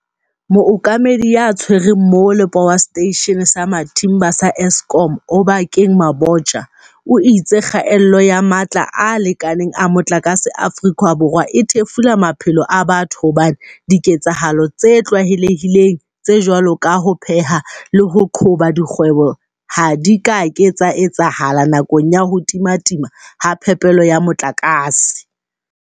Mookamedi ya Tshwereng Mole po wa Seteishene sa Matimba sa Eskom Oba keng Mabotja o itse kgaello ya matla a lekaneng a motlakase Aforika Borwa e thefula maphelo a batho hobane diketsahalo tse tlwaele hileng tse jwalo ka ho pheha le ho qhoba dikgwebo ha di ka ke tsa etsahala nakong ya ho timatima ha phepelo ya motlakase.